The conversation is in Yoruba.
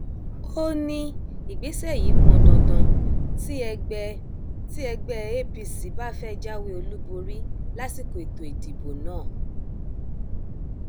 ó ní ìgbésẹ yìí pọn dandan tí ẹgbẹ tí ẹgbẹ apc bá fẹẹ jáwé olúborí lásìkò ètò ìdìbò náà